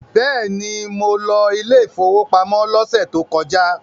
Bẹ́ẹ̀ni, mo lọ ilé ìfowópamọ́ la tó kọjá.